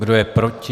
Kdo je proti?